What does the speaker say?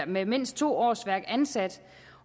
med mindst to årsværk ansat